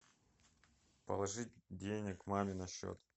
положить денег маме на счет